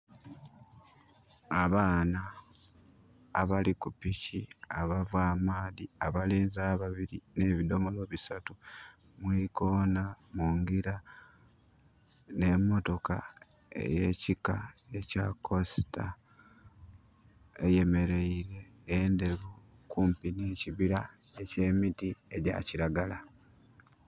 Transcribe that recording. Abaana abali ku piki abava amaadhi, abalenzi ababiri ne bidomolo bisatu mu ikoona munjira n'emotoka eye kika ekya kosita eyemeleire enderu kumpi ne kibira eky'emiti egya kiragala